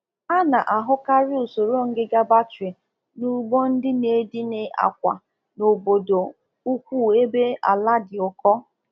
Usoro ọzụzụ ọkụkọ na akpa igwe kachasị dị bara bara n'etiti ndị na-agba mgbere ọkụkọ n'ime obodo na enwechaghị ala na-ụbara na-ụbara